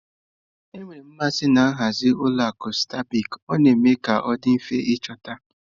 Enwere m mmasị na nhazi nke ụlọ akụ stanbịkị ,ọ na-eme ka ọ dị mfe ịchọta.